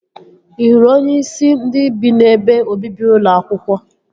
Ị hụrụ onyeisi ndị bi n'ebe obibi ụlọ akwụkwọ?